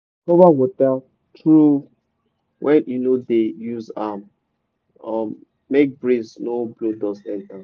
cover water trough when you no dey use am um make breeze no blow dust enter.